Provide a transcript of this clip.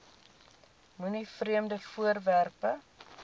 moenie vreemde voorwerpe